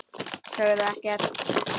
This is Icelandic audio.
Sögðu ekkert.